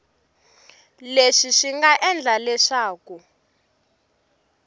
leswi swi nga endla leswaku